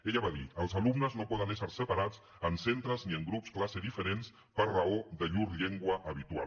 ella va dir els alumnes no poden ésser separats en centres ni en grups classe diferents per raó de llur llengua habitual